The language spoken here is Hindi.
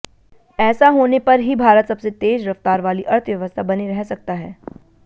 ऐसा होने पर ही भारत सबसे तेज रफ्तार वाली अर्थव्यवस्था बने रह सकता है